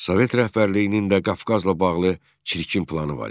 Sovet rəhbərliyinin də Qafqazla bağlı çirkin planı var idi.